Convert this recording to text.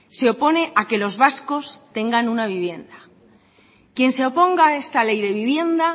se opone a que los vascos tengan una vivienda quien se oponga a esta ley de vivienda